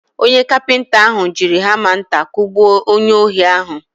Onye kapinta ahụ jiri hama nta kugbuo onye ohi ahụ.